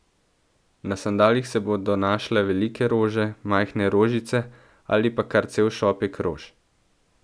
Na sandalih se bodo našle velike rože, majhne rožice, ali pa kar cel šopek rož.